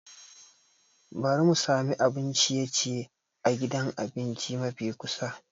Bari mu sami abun ciye-ciye a gidan abinci mafi kusa.